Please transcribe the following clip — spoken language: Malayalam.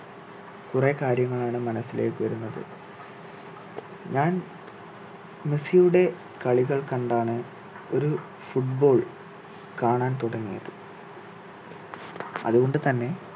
കുറെ കാര്യങ്ങളാണ് മനസ്സിലേക്ക് വരുന്നത് ഞാൻ മെസ്സിയുടെ കളികൾ കണ്ടാണ് ഒരു foot ball കാണാൻ തുടങ്ങിയത് അതുകൊണ്ടുതന്നെ